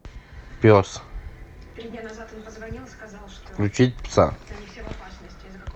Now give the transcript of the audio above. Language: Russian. пес включить пса